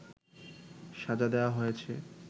সাজা দেওয়া হয়েছে